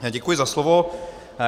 Děkuji za slovo.